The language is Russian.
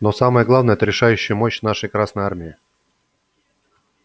но самое главное это решающая мощь нашей красной армии